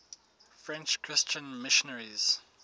french christian missionaries